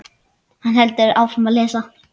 Hann heldur áfram að lesa: